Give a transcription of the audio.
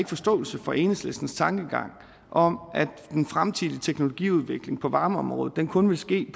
forståelse for enhedslistens tankegang om at den fremtidige teknologiudvikling på varmeområdet kun vil ske